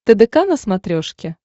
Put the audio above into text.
тдк на смотрешке